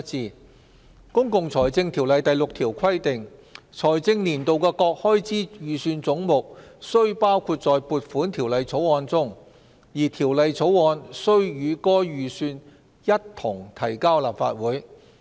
根據《公共財政條例》第6條規定，"財政年度的各開支預算總目須包括在撥款條例草案中，而條例草案須與該預算一同提交立法會。